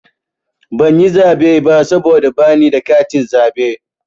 Ban yi zaɓe ba saboda bani da katin zaɓe.